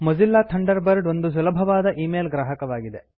Mozilla Thunderbird ಒಂದು ಸುಲಭವಾದ email ಗ್ರಾಹಕವಾಗಿದೆ